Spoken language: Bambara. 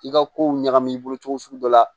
I ka kow ɲagami i bolo cogo sugu dɔ la